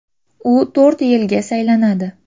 U to‘rt yilga saylanadi.